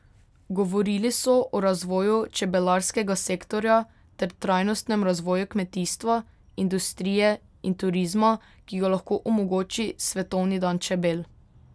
Govorili so o razvoju čebelarskega sektorja ter trajnostnem razvoju kmetijstva, industrije in turizma, ki ga lahko omogoči svetovni dan čebel.